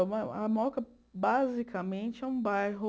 A mo a Moca, basicamente, é um bairro...